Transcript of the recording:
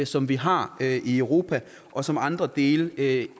som vi har i europa og som andre dele af